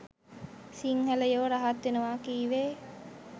සිංහලයෝ රහත් වෙනවා කීවේ